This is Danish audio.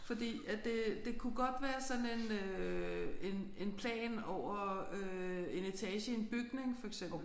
Fordi at det det kunne godt være sådan en øh en en plan over øh en etage i en bygning for eksempel